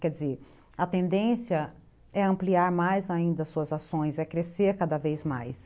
Quer dizer, a tendência é ampliar mais ainda as suas ações, é crescer cada vez mais.